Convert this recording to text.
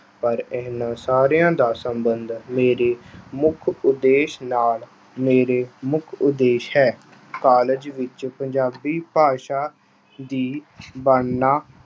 ਪਰ ਇਨ੍ਹਾਂ ਸਾਰਿਆਂ ਦਾ ਸਬੰਧ ਮੇਰੇ ਮੁੱਖ ਉਦੇਸ਼ ਨਾਲ, ਮੇਰੇ ਮੁੱਖ ਉਦੇਸ਼ ਹੈ। College ਵਿੱਚ ਪੰਜਾਬੀ ਭਾਸ਼ਾ ਦੀ